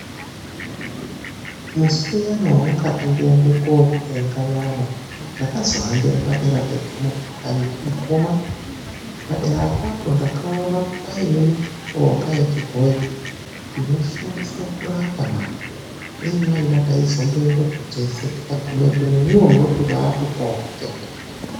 Musiuyani wamwakati ndiende kotenge nyama ndakazohambira padera pegomo peyani mukoma padera apapo ndakazoona paine mishonga yechibhoyi inoshandiswa kurapana. Dai mwaida taizoenda teshe tikagumepo nemwiwo munotopawo kutenda.